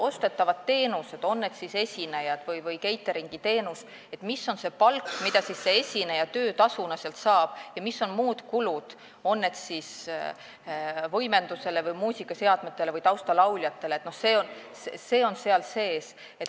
Ostetavate teenuste korral, on see siis esinemise või catering'i teenus, on palk see, mida näiteks esineja töötasuna saab, ja muud kulud, on need siis kulutused võimendusele, muusikaseadmetele või taustalauljatele, on seal sees.